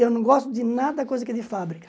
Eu não gosto de nada coisa que é de fábrica.